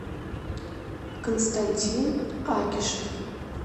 константин акишев